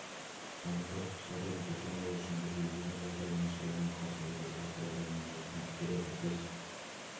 анықтадық жағдайдың қайталанбауы үшін біз елдегі жағдайдың нашарлауына қарсы әрекет ету құралдарын нығайтқымыз келеді біз